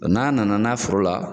n'an na na n'a foro la